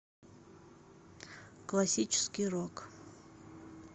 классический рок